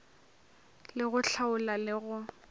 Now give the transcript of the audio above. le go hlaola le go